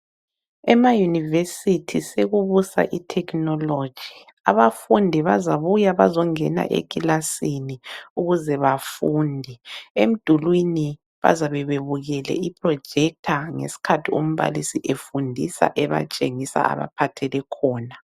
Enayunivesithi sekubusa ithekhinoloji. Abafundi bazabuya bazongena ekilasini, ukuze bafunde. Emdulwini bazabe bebukele iprojector ngeskhathi umbalisi efundisa, ebatshengisa abaphathele khona.